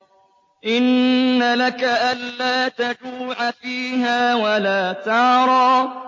إِنَّ لَكَ أَلَّا تَجُوعَ فِيهَا وَلَا تَعْرَىٰ